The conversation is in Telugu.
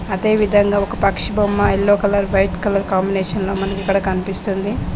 అదేవిధంగా ఒక పక్షి బొమ్మ యెల్లో కలర్ వైట్ కలర్ కాంబినేషన్లో మనకు ఇక్కడ కనిపిస్తుంది